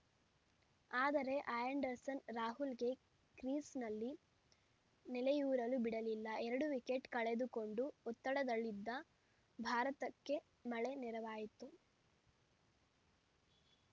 ಆದರೆ ಆ್ಯಂಡರ್‌ಸನ್‌ ರಾಹುಲ್‌ಗೆ ಕ್ರೀಸ್‌ನಲ್ಲಿ ನೆಲೆಯೂರಲು ಬಿಡಲಿಲ್ಲ ಎರಡು ವಿಕೆಟ್‌ ಕಳೆದುಕೊಂಡು ಒತ್ತಡದಲ್ಲಿದ್ದ ಭಾರತಕ್ಕೆ ಮಳೆ ನೆರವಾಯಿತು